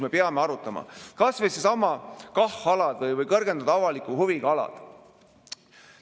Me peame arutama kas või neidsamu KAH-alasid ehk kõrgendatud avaliku huviga alasid.